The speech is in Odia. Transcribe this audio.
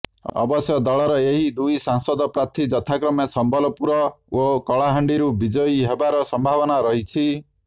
ଅବଶ୍ୟ ଦଳର ଏହି ଦୁଇ ସାଂସଦ ପ୍ରାର୍ଥୀ ଯଥାକ୍ରମେ ସମ୍ବଲପୁର ଓ କଳାହାଣ୍ଡିରୁ ବିଜୟୀ ହେବାର ସମ୍ଭାବନା ରହିଛି